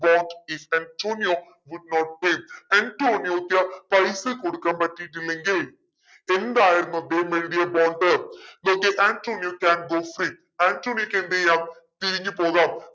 what if Antonio would not pay ആന്റോണിയോക്ക് പൈസ കൊടുക്കാൻ പറ്റീട്ടില്ലെങ്കിൽ എന്തായിരുന്നു they made a Antonio can go free ആന്റോണിയോക്ക് എന്തെയ്യാം പിരിഞ്ഞുപോകാം